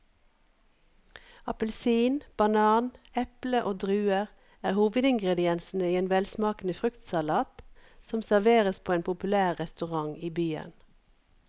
Appelsin, banan, eple og druer er hovedingredienser i en velsmakende fruktsalat som serveres på en populær restaurant i byen.